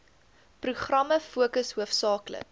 programme fokus hoofsaaklik